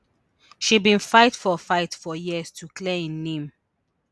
she bin fight for fight for years to clear im name